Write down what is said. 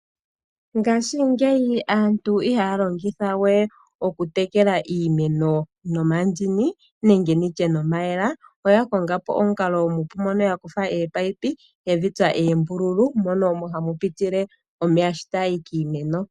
Ngashingeyi aantu ihaya longitha we okutekela iimeno nomandini nenge nditye nomayemele, oya konga po omukalo omupu moka ya kutha ominino ye dhi tsa oombululu mono omo hamu pitile omeya sho ta ga yi kiimeno.